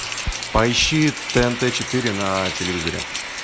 поищи тнт четыре на телевизоре